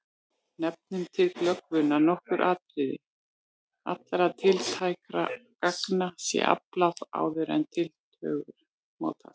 Nefnum til glöggvunar nokkur atriði: Allra tiltækra gagna sé aflað áður en tillögur mótast.